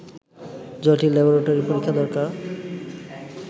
জটিল ল্যাবরেটরি পরীক্ষা দরকার